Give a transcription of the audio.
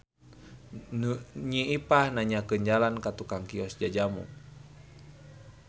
Nyi Ipah nanyakeun jalan ka tukang kios jajamu.